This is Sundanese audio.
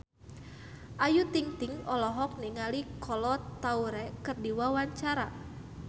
Ayu Ting-ting olohok ningali Kolo Taure keur diwawancara